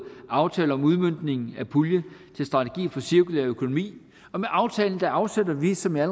aftale om udmøntningen af pulje til strategi for cirkulær økonomi og med aftalen afsætter vi som jeg